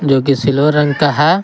जो कि सिल्वर रंग का है।